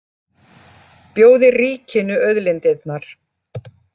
Bjóði ríkinu auðlindirnar